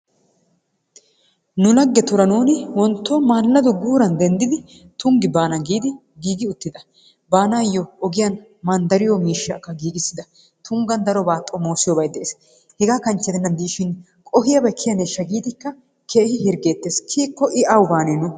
Nu laggetuura nuuni wontto maaladdo guuran denddidi Tunggi baana giidi giigi uttida. Baanayo ogiyaan manddariyo miishshakka giigissida. Tunghan darobay xommossiyoobay de'ees. Hega kanchcje gidenan dishin qohiyabay kiyaneshsha giidii keehi hirggettees. Kiyyiko I awu baane nu?